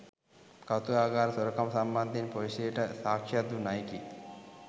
කෞතුකාගාර සොරකම සම්බන්ධයෙන් පොලිසියට සාක්ෂියක් දුන් අයෙකි